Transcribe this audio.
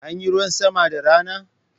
Anyi ruwan sama da rana?